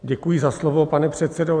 Děkuji za slovo, pane předsedo.